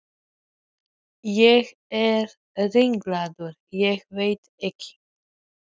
Annars neita ég því ekki að ég hef sjóast mikið eftir að ég varð forseti.